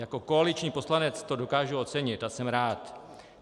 Jako koaliční poslanec to dokážu ocenit a jsem rád.